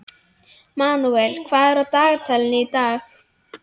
Manuel, hvað er á dagatalinu í dag?